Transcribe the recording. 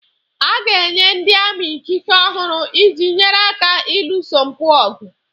A ga-enye ndị ami ikike ọhụrụ iji nyere aka ịlụso mpụ ọgụ